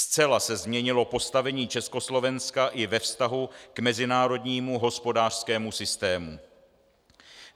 Zcela se změnilo postavení Československa i ve vztahu k mezinárodnímu hospodářskému systému.